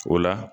O la